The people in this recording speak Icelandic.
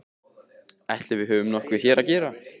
Ætli við höfum nokkuð hér að gera?